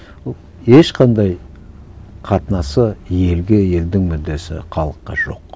ешқандай қатынасы елге елдің мүддесі халыққа жоқ